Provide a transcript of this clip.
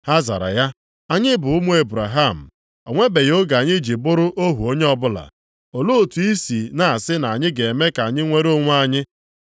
Ha zara ya, “Anyị bụ ụmụ Ebraham, o nwebeghị oge anyị ji bụrụ ohu onye ọbụla. Olee otu i si na-asị na a ga-eme ka anyị nwere onwe anyị?”